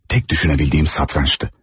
Tək düşünə bildiyim satrançdı.